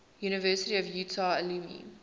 university of utah alumni